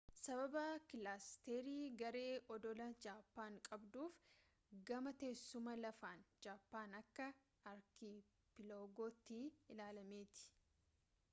sababa kilaasteri/garee oddolaa jaapaan qabduuf gama teessuma lafaan jaapaan akka archipelago tti ilaalamti